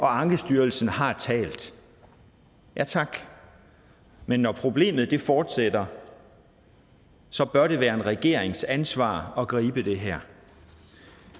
ankestyrelsen har talt ja tak men når problemet fortsætter så bør det være en regerings ansvar at gribe det her